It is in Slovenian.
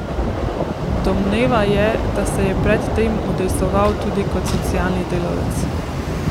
Domneva je, da se je pred tem udejstvoval tudi kot socialni delavec.